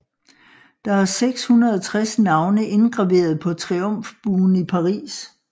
Der er 660 navne indgraveret på Triumfbuen i Paris